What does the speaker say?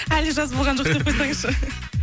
әлі жаз болған жоқ деп қойсаңызшы